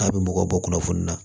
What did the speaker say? K'a bɛ mɔgɔw bɔ kunnafoni na